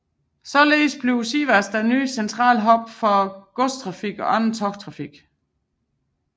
Således bliver Sivas en ny central hub for godstrafik og andet togtrafik